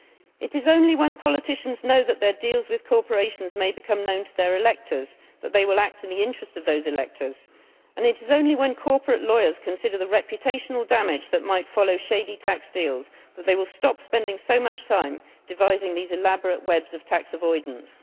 It is only when politicians know that their deals with corporations may become known to their electors that they will act in the interest of those electors, and it is only when corporate lawyers consider the reputational damage that might follow shady tax deals that they will stop spending so much time devising these elaborate webs of tax avoidance.